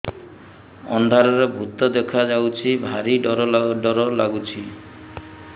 ଅନ୍ଧାରରେ ଭୂତ ଦେଖା ଯାଉଛି ଭାରି ଡର ଡର ଲଗୁଛି